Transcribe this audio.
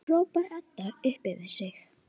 hrópar Edda upp yfir sig.